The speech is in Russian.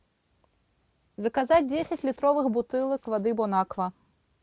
заказать десять литровых бутылок воды бонаква